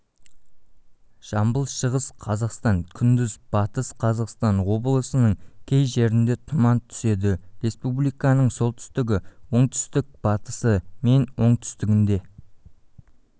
жамбыл шығыс қазақстан күндіз батыс қазақстан облысының кей жерінде тұман түседі республиканың солтүстігі оңтүстік-батысы мен оңтүстігінде